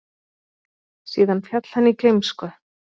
Síðan féll hann í gleymsku.